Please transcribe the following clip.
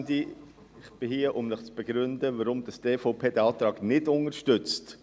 Ich bin hier, um zu begründen, weshalb die EVP diesen Antrag nicht unterstützt.